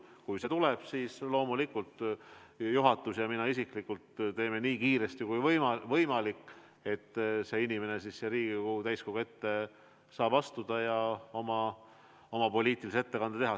Kui see tuleb, siis loomulikult juhatus ja mina isiklikult teeme nii kiiresti kui võimalik kõik selleks, et see inimene saab siia Riigikogu täiskogu ette astuda ja oma poliitilise ettekande teha.